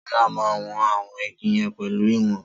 Sola má won àwọn igi yen pelu ìwòn